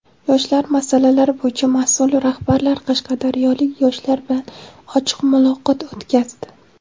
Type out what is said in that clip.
Yoshlar masalalari bo‘yicha mas’ul rahbarlar qashqadaryolik yoshlar bilan ochiq muloqot o‘tkazdi.